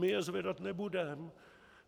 My je zvedat nebudem!